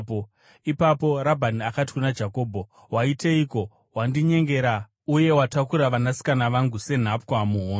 Ipapo Rabhani akati kuna Jakobho, “Waiteiko? Wandinyengera, uye watakura vanasikana vangu senhapwa muhondo.